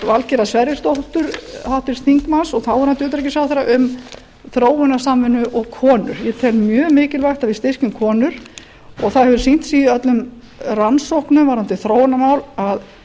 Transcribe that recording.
valgerðar sverrisdóttur háttvirts þingmanns og þáverandi utanríkisráðherra um þróunarsamvinnu og konur ég tel mjög mikilvægt að við styrkjum konur og það hefur sýnt sig í öllum rannsóknum varðandi þróunarmál að